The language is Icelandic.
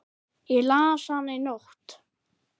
Ég las hana í nótt.